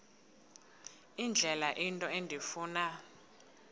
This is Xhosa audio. indlela into endifuna